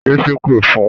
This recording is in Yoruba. Yé ṣépè fun!